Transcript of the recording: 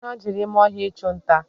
Ha jere ime ọhịa ichunta